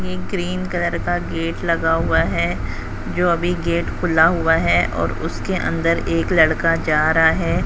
एक green colour का gate लगा हुआ है जो अभी गेट खुला हुआ है और उसके अंदर एक लड़का जा रहा है।